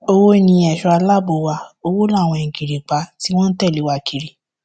owó ni èso aláàbò wa owó láwọn ìgìrìpá tí wọn tẹlé wa kiri